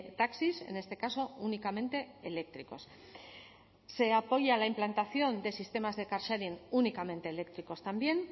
taxis en este caso únicamente eléctricos también se apoya la implantación de sistemas de car sharing únicamente eléctricos también